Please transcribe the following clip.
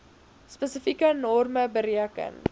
spesifieke norme bereken